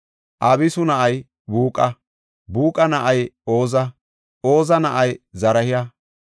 Abisu na7ay Buuqa; Buuqa na7ay Oza; Oza na7ay Zaraha.